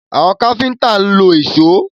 Àwọn káfíńtà ń lo ìṣó.